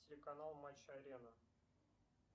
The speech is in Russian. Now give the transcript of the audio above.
телеканал матч арена